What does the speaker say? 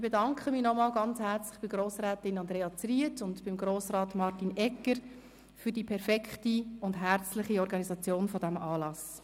Ich bedanke mich noch einmal bei Grossrätin Zryd und Grossrat Egger für die perfekte Organisation des Anlasses.